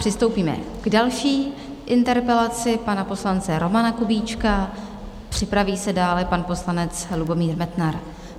Přistoupíme k další interpelaci pana poslance Romana Kubíčka, připraví se dále pan poslanec Lubomír Metnar.